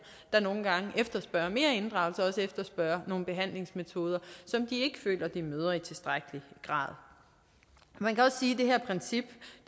der nogle gange efterspørger mere inddragelse og også efterspørger nogle behandlingsmetoder som de ikke føler at de møder i tilstrækkelig grad man kan også sige at det her princip